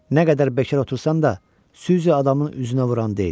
Nə qədər bekar otursan da, süzi adamın üzünə vuran deyil.